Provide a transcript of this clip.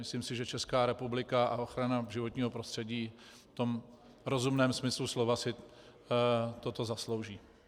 Myslím si, že Česká republika a ochrana životního prostředí v tom rozumném smyslu slova si toto zaslouží.